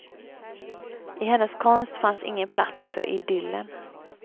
I hennes konst fanns ingen plats för idyllen.